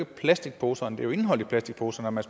plastikposerne men indholdet i plastikposerne